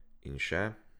In še ...